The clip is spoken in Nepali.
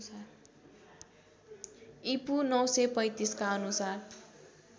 ईपू ९३५ का अनुसार